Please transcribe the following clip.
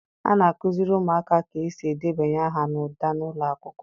A na-akụziri ụmụaka ka esi edebanye aha n'ụda n'ụlọ akwụkwọ.